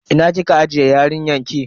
Ina kike ajiye yarinyan ki?